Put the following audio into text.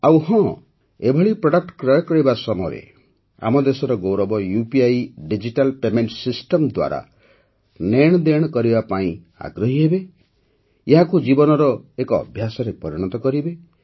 ଆଉ ହଁ ଏଭଳି ପ୍ରଡକ୍ଟ କ୍ରୟ କରିବା ସମୟରେ ଆମ ଦେଶର ଗୌରବ ୟୁପିଆଇ ଡିଜିଟାଲ୍ ପେମେଣ୍ଟ ସିଷ୍ଟମ୍ ଦ୍ୱାରା ନେଣଦେଣ କରିବା ପାଇଁ ଆଗ୍ରହୀ ହେବେ ଏହାକୁ ଜୀବନର ଏକ ଅଭ୍ୟାସରେ ପରିଣତ କରିବେ